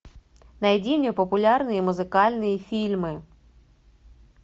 найди мне популярные музыкальные фильмы